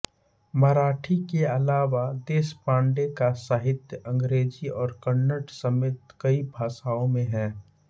मराठी के अलावा देशपांडे का साहित्य अंग्रेजी और कन्नड़ समेत कई भाषाओं में है